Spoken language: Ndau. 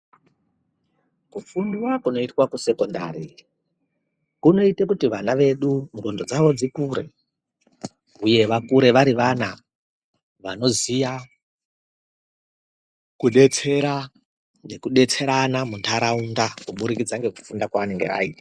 Kufundwa kunoitwa kusekhondari kunoite kuti vana vedu ndhlondo dzvavo dzikure uye vakure vari vana vanoziya kudetsera, nekudetserana munharaunda kuburikidza nekufunda kwaanonga aita.